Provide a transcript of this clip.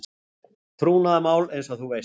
Trúnaðarmál eins og þú veist.